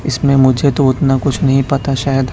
इसमें मुझे तो उतना कुछ नहीं पता शायद--